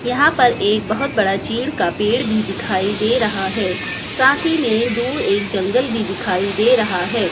यहां पर एक बहुत बड़ा चीड़ का पेड़ भी दिखाई दे रहा है साथ ही मे दूर एक जंगल भी दिखाई दे रहा है।